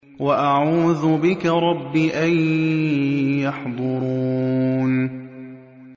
وَأَعُوذُ بِكَ رَبِّ أَن يَحْضُرُونِ